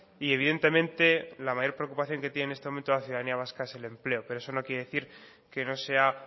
y evidentemente la mayor preocupación que tiene en este momento la ciudadanía vasca es el empleo pero eso no quiere decir que no sea